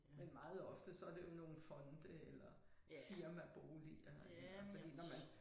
Men meget ofte så det jo nogle fonde eller firmaboliger eller fordi når man